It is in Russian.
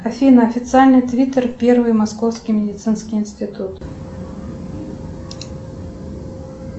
афина официальный твиттер первый московский медицинский институт